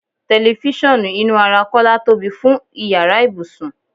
Telifisan inú ara Kọ́lá tóbi fún ìyára ibùsùn.